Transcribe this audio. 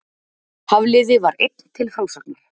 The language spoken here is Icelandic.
Hafliði var einn til frásagnar.